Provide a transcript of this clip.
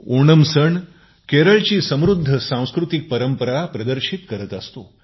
ओणम सण केरळची समृद्ध सांस्कृतिक परंपरा प्रदर्शित करत असतो